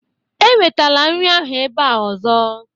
Ewetala nri ahụ ebe a ọzọ!